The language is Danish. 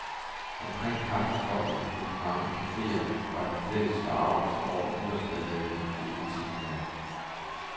Omkring kaffekopperne på de mange caféer var den fælles forargelse over nytårsballaden hovedtemaet.